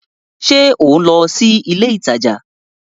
Ṣe o nlọ si ilé ìtàjà?